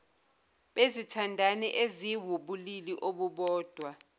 bezithandani eziwubulili obubodwa